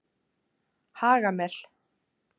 Hagamel